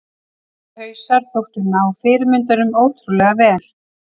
Þessir hausar þóttu ná fyrirmyndunum ótrúlega vel.